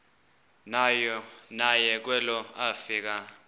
naye kwelo afika